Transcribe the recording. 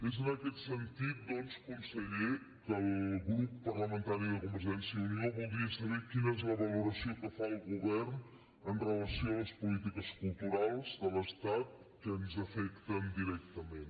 és en aquest sentit doncs conseller que el grup parlamentari de convergència i unió voldria saber quina és la valoració que fa el govern amb relació a les polítiques culturals de l’estat que ens afecten directament